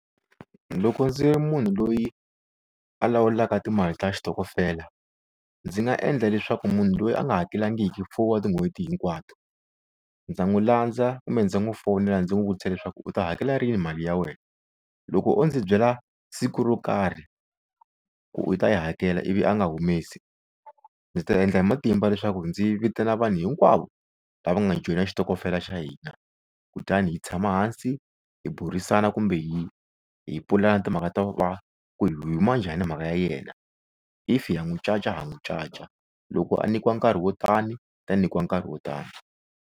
Loko ndzi ri munhu loyi a lawulaka timali ta xitokofela ndzi nga endla leswaku munhu loyi a nga hakelangiki four wa tin'hweti hinkwato ndza n'wi landza kumbe ndzi n'wi fonela ndzi n'wi vutisa leswaku u ta hakela rini mali ya wena loko o ndzi byela siku ro karhi ku u ta yi hakela ivi a nga humesi ndzi ta endla hi matimba leswaku ndzi vitana vanhu hinkwavo lava nga joyina xitokofela xa hina kutani hi tshama hansi hi burisana kumbe hi hi pulani timhaka ta ku va ku hi yi huma njhani mhaka ya yena if ya n'wi caca ha n'wi caca loko a nikiwa nkarhi wo tani ta nyikiwa nkarhi wo tani.